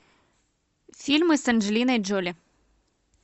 фильмы с анджелиной джоли